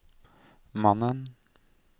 mannen